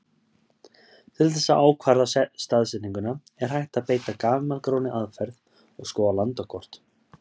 Til þess að ákvarða staðsetningu er hægt að beita gamalgróinni aðferð og skoða landakort.